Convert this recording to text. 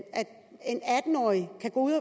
årig kan gå ud